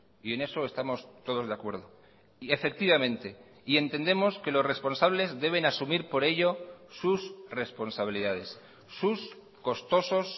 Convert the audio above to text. y en eso estamos todos de acuerdo y efectivamente y entendemos que los responsables deben asumir por ello sus responsabilidades sus costosos